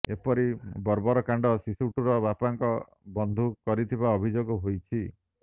ଏପରି ବର୍ବର କାଣ୍ଡ ଶିଶୁଟର ବାପାଙ୍କ ବନ୍ଧୁ କରିଥିବା ଅଭିଯୋଗ ହୋଇଛି